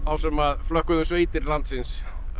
sem flökkuðu um sveitir landsins